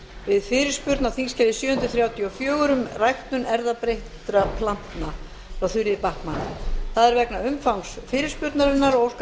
við fyrirspurn á þingskjali sjö hundruð þrjátíu og fjögur um ræktun erfðabreyttra plantna frá þuríði backman það er vegna umfangs fyrirspurnarinnar og óskar